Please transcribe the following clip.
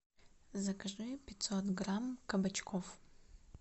закажи пятьсот грамм кабачков